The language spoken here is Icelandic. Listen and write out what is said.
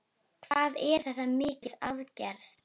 Hvað er þetta mikil aðgerð?